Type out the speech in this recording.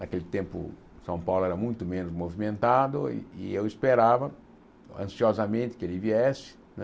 Naquele tempo, São Paulo era muito menos movimentado e eu esperava, ansiosamente, que ele viesse, né?